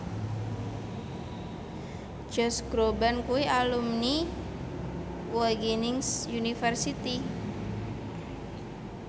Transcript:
Josh Groban kuwi alumni Wageningen University